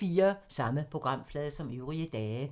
Samme programflade som øvrige dage